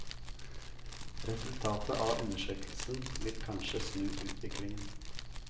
Resultatet av undersøkelsen vil kanskje snu utviklingen.